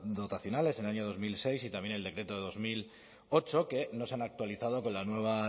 dotacionales en el año dos mil seis y también el decreto de dos mil ocho que no se han actualizado con la nueva